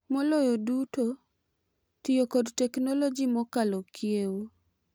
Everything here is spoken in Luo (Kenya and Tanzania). Maloyo duto, tiyo kod teknoloji mokalo kiewo .